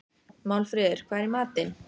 Málfríður, hvað er í matinn?